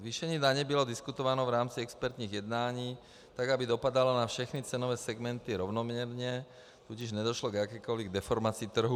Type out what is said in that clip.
Zvýšení daně bylo diskutováno v rámci expertních jednání, tak aby dopadala na všechny cenové segmenty rovnoměrně, tudíž nedošlo k jakékoli deformaci trhu.